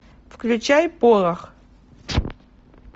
включай порох